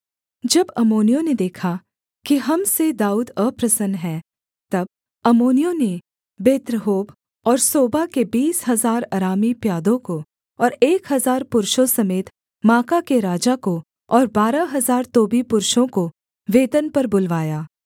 जब अम्मोनियों ने देखा कि हम से दाऊद अप्रसन्न है तब अम्मोनियों ने बेत्रहोब और सोबा के बीस हजार अरामी प्यादों को और एक हजार पुरुषों समेत माका के राजा को और बारह हजार तोबी पुरुषों को वेतन पर बुलवाया